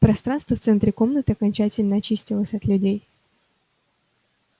пространство в центре комнаты окончательно очистилось от людей